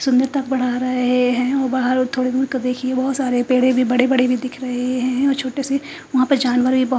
सुंदर तक बढ़ा रहे हैं और बाहर थोड़ी दूर के देखिए बहोत सारे पेड़े भी बड़े बड़े भी दिख रहे हैं छोटे से वहां पर जानवर भी बहो--